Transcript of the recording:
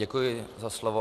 Děkuji za slovo.